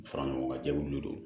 Fara ɲɔgɔn ŋa jɛkulu don